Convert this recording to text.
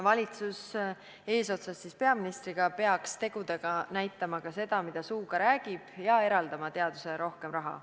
Valitsus eesotsas peaministriga peaks tegudega näitama sama, mida suuga räägib, ja eraldama teadusele rohkem raha.